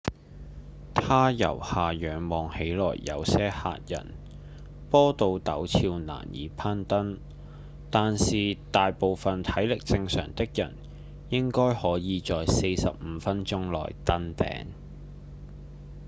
它由下仰望看起來有些嚇人坡度陡峭難以攀登但是大部分體力正常的人應該可以在45分鐘內登頂